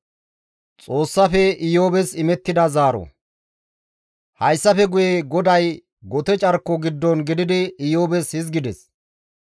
Hayssafe guye GODAY gote carko giddon gididi Iyoobes hizgides,